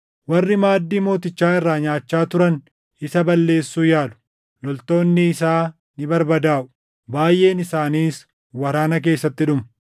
Warri maaddii mootichaa irraa nyaachaa turan isa balleessuu yaalu; loltoonni isaa ni barbadaaʼu; baayʼeen isaaniis waraana keessatti dhumu.